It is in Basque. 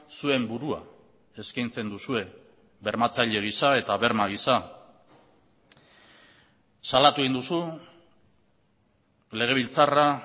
zuen burua eskaintzen duzue bermatzaile gisa eta berma gisa salatu egin duzu legebiltzarra